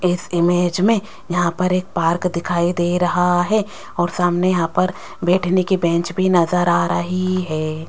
इस इमेज में यहां पर एक पार्क दिखाई दे रहा है और सामने यहां पर बैठने की बेंच भी नजर आ रही है।